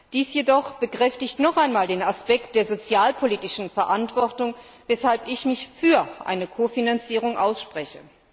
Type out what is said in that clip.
Dies jedoch bekräftigt noch einmal den Aspekt der sozialpolitischen Verantwortung, weshalb ich mich für eine Kofinanzierung ausspreche.